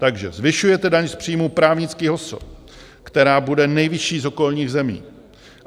Takže zvyšujete daň z příjmů právnických osob, která bude nejvyšší z okolních zemí.